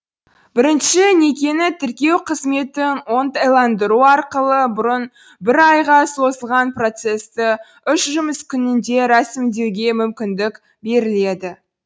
бірінші некені тіркеу қызметін оңтайландыру арқылы бұрын бір айға созылған процесті үш жұмыс күнінде рәсімдеуге мүмкіндік беріледі